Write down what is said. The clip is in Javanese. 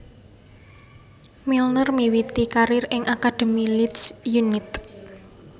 Milner miwiti karir ing akademi Leeds United